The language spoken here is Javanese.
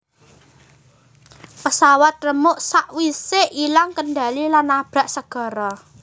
Pesawat remuk sak wise ilang kendali lan nabrak segara